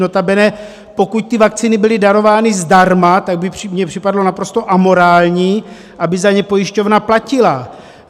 Notabene pokud ty vakcíny byly darovány zdarma, tak by mi připadalo naprosto amorální, aby za ně pojišťovna platila.